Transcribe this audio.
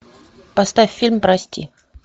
поставь фильм прости